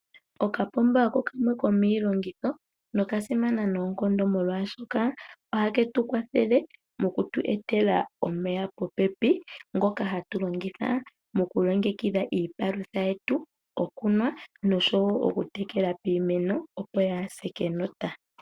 Okapomba oko kamwe komiilongitho noka simana noonkondo molwaashoka ohaketu kwathele mokutu etela omeya popepi ngoka hatu longitha moku longekidha iipalutha yetu, gokunwa noshowo oku tekela iimeno opo yaase kenota.